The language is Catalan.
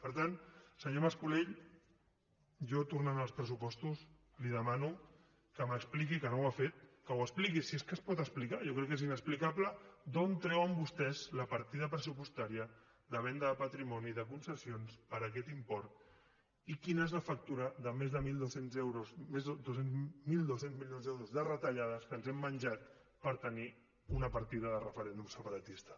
per tant senyor mas colell jo tornant als pressupostos li demano que m’expliqui que no ho ha fet que ho expliqui si és que es pot explicar jo crec que és inexplicable d’on treuen vostès la partida pressupostària de venda de patrimoni de concessions per aquest import i quina és la factura de més de mil dos cents milions d’euros de retallades que ens hem menjat per tenir una partida de referèndum separatista